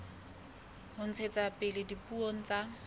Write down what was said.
ho ntshetsa pele dipuo tsa